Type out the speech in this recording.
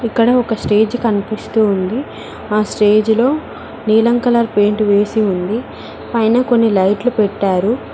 ఇక్కడ ఒక స్టేజ్ కనిపిస్తోంది అ స్టేజి లో నీలం కలర్ పెయింట్ వేసి ఉంది పైన కొన్ని లైట్లు పెట్టారు.